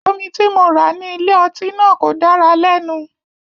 Omi tí mo rà ní ilé-ọtí náà kò dára lẹ́nu.